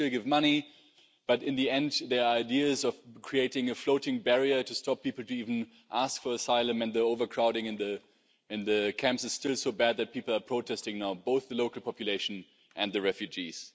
Yes, we still give money, but in the end, the idea of creating a floating barrier to stop people even asking for asylum and the overcrowding in the camps is still so bad that people are protesting now both the local population and the refugees.